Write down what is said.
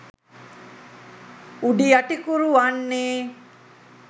උඩියටිකුරු වන්නේ